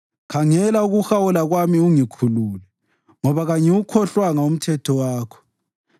Khangela ukuhawula kwami ungikhulule, ngoba kangiwukhohlwanga umthetho wakho.